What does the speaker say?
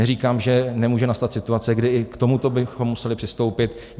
Neříkám, že nemůže nastat situace, kdy i k tomuto bychom museli přistoupit.